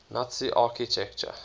nazi architecture